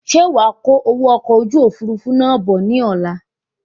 Ṣe wàá kó owó okò ojú òfurufú náà bọ̀ ní ọ̀la?